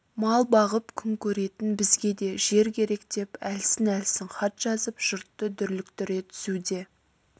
мал бағып күн көретін бізге де жер керек деп әлсін-әлсін хат жазып жұртты дүрліктіре түсуде